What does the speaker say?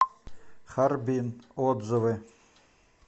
харбин отзывы